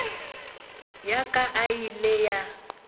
ya ka e ile ya